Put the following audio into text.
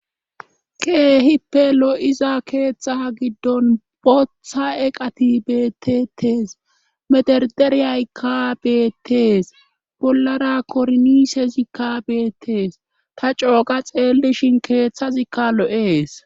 keehippe lo7iza keethta giddon botha eqati beettetees mederderiyayka bettees bollara korniisezikkabeettees ta cooqa xeellishin keeththazikka lo7ees